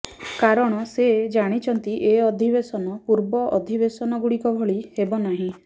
କାରଣ ସେ ଜାଣିଛନ୍ତି ଏ ଅଧିବେଶନ ପୂର୍ବ ଅଧିବେଶନଗୁଡ଼ିକ ଭଳି ହେବ ନାହିଁ